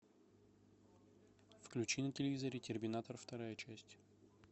включи на телевизоре терминатор вторая часть